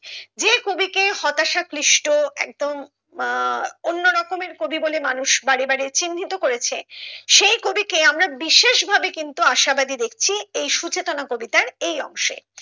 যে কবিকে হতাশা ক্লিষ্ট একদম আহ অন্য রকমের কবি বলে মানুষ বাড়ে বাড়ে চিন্নিত করেছেন সেই কবি কে আমরা বিশেষ ভাবে কিন্তু আশাবাদী দেখছি এই সুচেতনা কবিতায় এই অংশে।